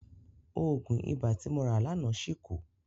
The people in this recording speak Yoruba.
Òògùn ibà tí mo rà láàná ṣì kù.